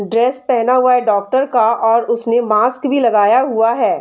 Dress पहना हुआ है डॉक्टर का और उसने मास्क भी लगाया हुआ है।